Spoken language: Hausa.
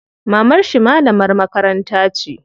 Mamarshi malamar makaranta ce.